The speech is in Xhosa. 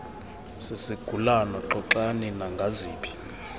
sisigulana xoxani nangaziphi